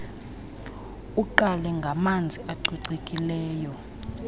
uqale ngamanzi acocekileyo